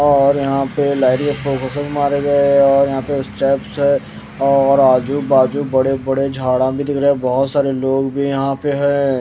और यहां पे लाइट के स्लो मोशन मरे गए है और यहां पे स्टेप्स है और आजु बाजू बड़े बड़े झाड़ा भी दिख रहा है बहुत सारे लोग भी यहां पे हैं।